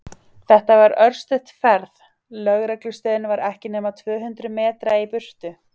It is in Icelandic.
Þetta var örstutt ferð, lögreglustöðin var ekki nema tvö hundruð metra í burtu.